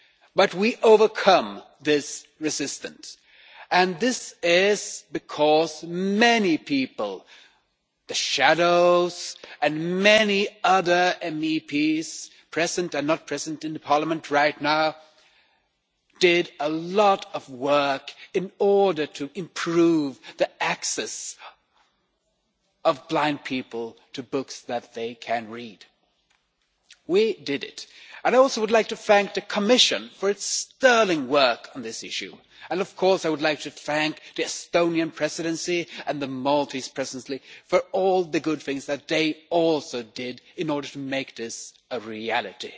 But we overcame this resistance, and this is because many people the shadows and many other MEPs present and not present in Parliament right now did a lot of work in order to improve the access of blind people to books that they can read. We did it, and I also would like to thank the Commission for its sterling work on this issue and of course I would like to thank the Estonian Presidency and the Maltese Presidency for all the good things that they also did in order to make this a reality.